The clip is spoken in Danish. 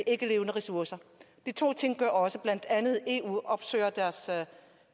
ikkelevende ressourcer de to ting gør også at blandt andet eu